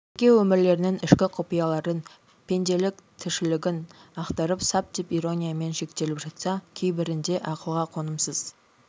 жеке өмірлерінің ішкі құпияларын пенделік тіршілігін ақтарып сап деп ирониямен шектеліп жатса кейбірінде ақылға қонымсыз